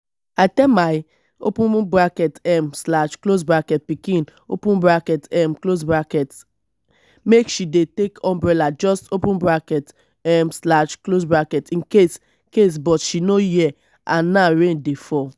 i tell my um pikin um make she take umbrella just um in case case but she no hear and now rain dey fall